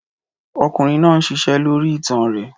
Ọkùnrin náà ń ṣiṣẹ́ lórí itan rẹ̀.